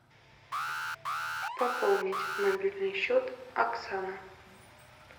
пополнить мобильный счет оксана